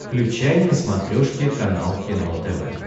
включай на смотрешке канал кино тв